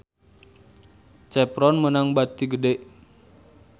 Chevron meunang bati gede